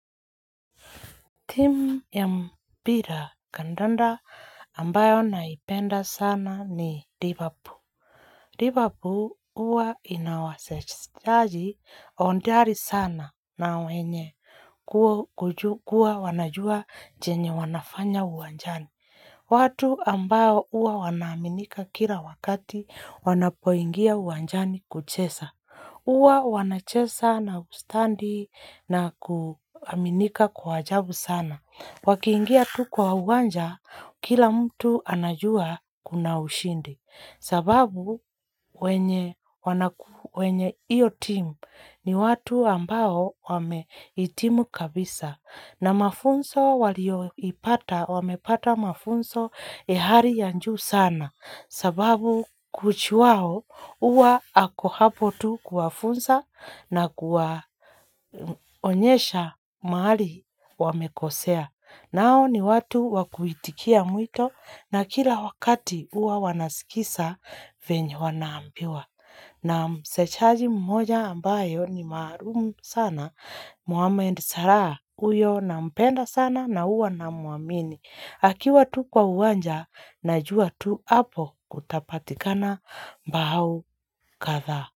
Team ya mpira kandanda ambayo naipenda sana ni Liverpool. Liverpool uwa inawasajaji ondari sana na wenye kuwa wanajua jenye wanafanya uwanjani. Watu ambayo uwa wanaminika kira wakati wanapoingia uwanjani kuchesa. Uwa wanachesa na ustandi na kuaminika kwa ajabu sana. Wakiingia tu kwa uwanja, kila mtu anajua kuna ushindi sababu wenye iyo timu ni watu ambao wameitimu kabisa na mafunso walio ipata, wamepata mafunso ehari yanju sana sababu kuchuwao uwa ako hapo tu kufunsa na kuwa onyesha maali wamekosea. Nao ni watu wakuitikia mwito na kila wakati uwa wanasikisa vinyo wanaambiwa. Na msechaji mmoja ambayo ni marumu sana. Muwamendi saraa uyo na mpenda sana na uwa na muamini. Akiwa tu kwa uwanja na juwa tu hapo kutapatikana mbahau katha.